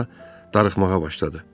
Sonra darıxmağa başladı.